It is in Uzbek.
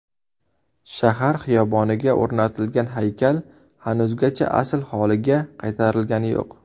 Shahar xiyoboniga o‘rnatilgan haykal hanuzgacha asl holiga qaytarilgani yo‘q.